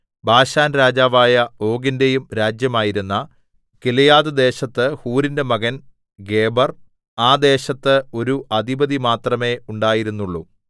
ബാശാൻരാജാവായ ഓഗിന്റെയും രാജ്യമായിരുന്ന ഗിലെയാദ്‌ദേശത്ത് ഹൂരിന്റെ മകൻ ഗേബെർ ആ ദേശത്ത് ഒരു അധിപതി മാത്രമേ ഉണ്ടായിരുന്നുള്ളു